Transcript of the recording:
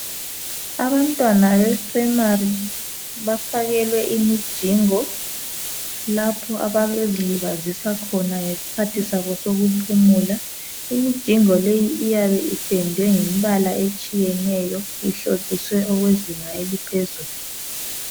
Abantwana be primary bafakelwe imijingo lapho abayabe bezilibazisa khona ngesikhathi sabo sokuphumula. Imijingo leyi iyabe ipendwe ngemibala etshiyeneyo ihlotshiswe okwezinga eliphezulu